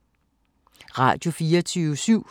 Radio24syv